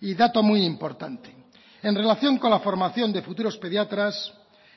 y dato muy importante en relación con la formación de futuros pediatras